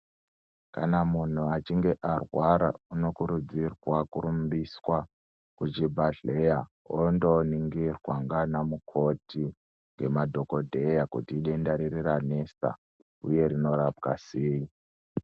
Kana muntu achinge arwara unokurudzirwa kurumbiswa kuchibhahleya ondoningirwa ngana mukoti ngemadhokodheya kuti idenda riri ranesa uye rinorapwa sei.